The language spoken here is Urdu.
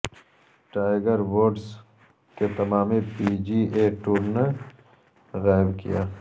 ٹائگر ووڈس کے تمام پی جی اے ٹور نے غائب کیا